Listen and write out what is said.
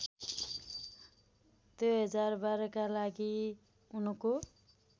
२०१२का लागि उनको